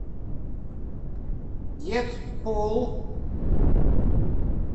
дэдпул